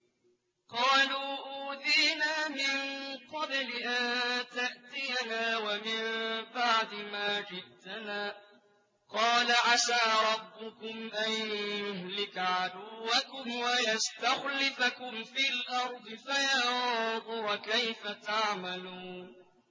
قَالُوا أُوذِينَا مِن قَبْلِ أَن تَأْتِيَنَا وَمِن بَعْدِ مَا جِئْتَنَا ۚ قَالَ عَسَىٰ رَبُّكُمْ أَن يُهْلِكَ عَدُوَّكُمْ وَيَسْتَخْلِفَكُمْ فِي الْأَرْضِ فَيَنظُرَ كَيْفَ تَعْمَلُونَ